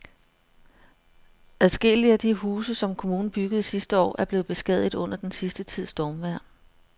Adskillige af de huse, som kommunen byggede sidste år, er blevet beskadiget under den sidste tids stormvejr.